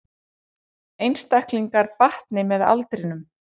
Einstaklingar batni með aldrinum